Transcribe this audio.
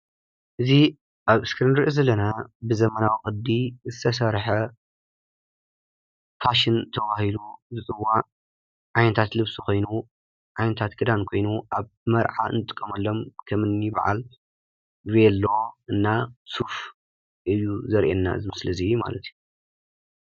እዚ አብ እስክሪን እንሪኦ ዘለና ብዘመናዊ ቅዲ ዝተሰረሐ ፋሽን ተባሂሉ ዝፅዋዕ ዓይነታት ልብሲ ኮይኑ፣ ዓይነታት ክዳን ኮይኑ ኣብ መርዓ እንጥቀሎም ከምኒ በዓል ቬሎ እና ሱፍ እዩ ዘርእየና እዚ ምስሊ ማለት እዩ፡፡